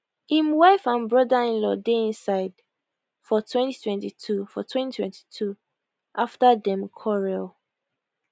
im wife and brotherinlaw dey inside for 2022 for 2022 after dem quarrel